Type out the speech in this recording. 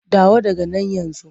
Dawo daga nan yanzu!